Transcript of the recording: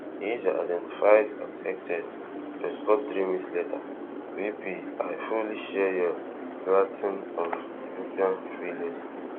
di user identified as hegseth respond three minutes later vp i fully share your loathing of european freeloading